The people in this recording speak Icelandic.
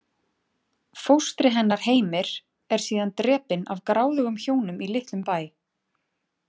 Fóstri hennar Heimir er síðan drepinn af gráðugum hjónum í litlum bæ.